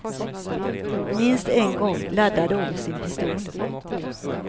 Minst en gång laddade om sin pistol.